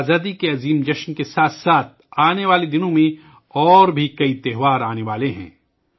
یوم آزادی کے عظیم تہوار کے ساتھ ساتھ آنے والے دنوں میں کئی اور تہوار بھی آنے والے ہیں